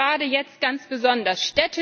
Das gilt gerade jetzt ganz besonders.